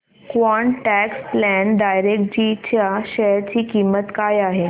quant tax plan डायरेक्टजी च्या share ची किंमत काय आहे